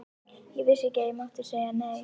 Ég vissi ekki að ég mátti segja nei.